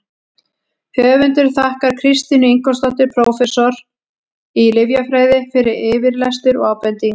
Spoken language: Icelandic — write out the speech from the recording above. Höfundur þakkar Kristínu Ingólfsdóttur, prófessor í lyfjafræði, fyrir yfirlestur og ábendingar.